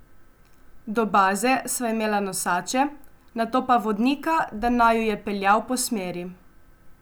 Do baze sva imela nosače, nato pa vodnika, da naju je peljal po smeri.